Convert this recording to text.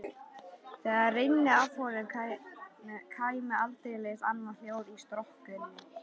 Þegar rynni af honum kæmi aldeilis annað hljóð í strokkinn.